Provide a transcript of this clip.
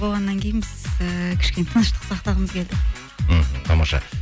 болғаннан кейін біз ііі кішкене тыныштық сақтағымыз келді мхм тамаша